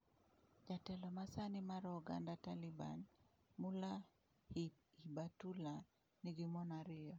Jatelo ma sani mar oganda Taliban, Mullah Hibatulah, nigi mon ariyo.